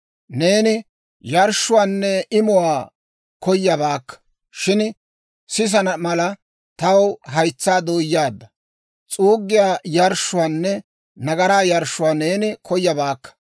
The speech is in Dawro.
Neeni yarshshuwaanne imuwaa koyabaakka; shin sisana mala, taw haytsaa dooyaadda. S'uuggiyaa yarshshuwaanne nagaraa yarshshuwaa neeni koyabaakka.